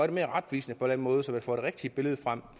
det mere retvisende på en måde så man får det rigtige billede frem